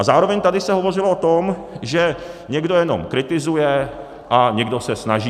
A zároveň se tady hovořilo o tom, že někdo jenom kritizuje a někdo se snaží.